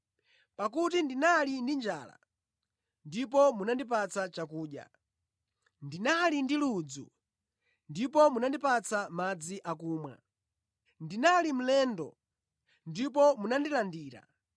Pakuti ndinali ndi njala ndipo munandipatsa chakudya, ndinali ndi ludzu ndipo munandipatsa madzi akumwa, ndinali mlendo ndipo munandilandira,